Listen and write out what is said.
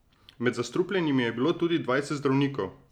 Med zastrupljenimi je bilo tudi dvajset zdravnikov.